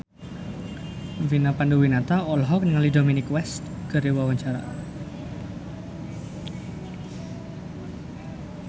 Vina Panduwinata olohok ningali Dominic West keur diwawancara